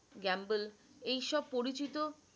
gamble এই সব পরিচিত